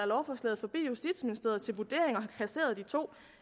lovforslaget forbi justitsministeriet til vurdering og kasseret de to